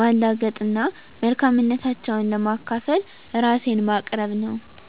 ማላገጥ እና መልካምነታቸውን ለማካፈል ራሴን ማቅረብ ነው።